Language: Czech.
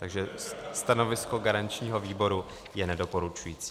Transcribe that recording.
Takže stanovisko garančního výboru je nedoporučující.